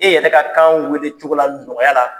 E yɛrɛ ne ka kan wele cogo la nɔgɔya la